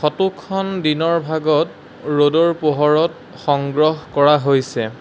ফটোখন দিনৰ ভাগত ৰ'দৰ পোহৰত সংগ্ৰহ কৰা হৈছে।